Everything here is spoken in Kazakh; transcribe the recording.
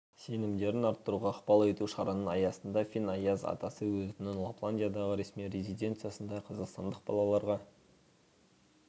сенімдерін арттыруға ықпал ету шараның аясында фин аяз атасы өзінің лапландиядағы ресми резиденциясында қазақстандық балаларға